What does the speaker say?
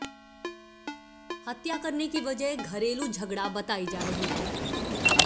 हत्या करने की वजह घरेलू झगड़ा बताई जा रही है